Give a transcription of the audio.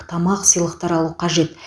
тамақ сыйлықтар алу қажет